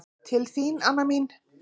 Til þín, Anna mín.